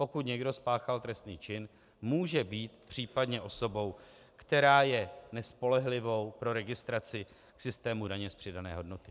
Pokud někdo spáchal trestný čin, může být případně osobou, která je nespolehlivou pro registraci systému daně z přidané hodnoty.